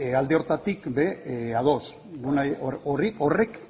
alde horretatik ere ados horrek